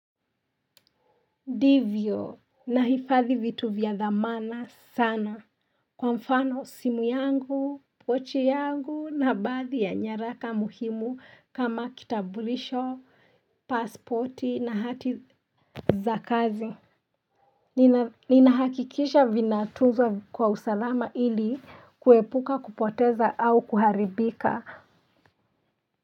Ndivyo nahifadhi vitu vya dhamana sana kwa mfano simu yangu pochi yangu na baadhi ya nyaraka muhimu kama kitambulisho pasipoti na hati za kazi. Nina hakikisha vina tunzwa kwa usalama ili kuepuka kupoteza au kuharibika.